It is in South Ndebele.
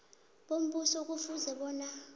bombuso kufuze bona